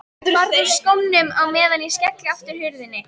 Farðu úr skónum á meðan ég skelli aftur hurðinni.